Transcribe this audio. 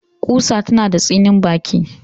Ƙusa tana da tsinin baki